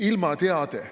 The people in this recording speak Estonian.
Ilmateade.